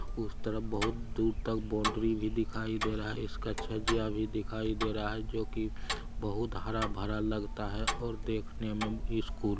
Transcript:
उसे तरफ बहुत दूर तक बाउंड्री भी दिखाई दे रहा है इसका छजिया भी दिखाई दे रहा है जो की बहुत हरा भरा लगता है और देखने में स्कूल --